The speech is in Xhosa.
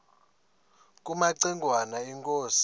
kumaci ngwana inkosi